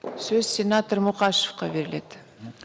сөз сенатор мұқашевқа беріледі